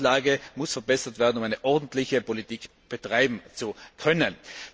Die Datenlage muss verbessert werden, um eine ordentliche Politik betreiben zu können.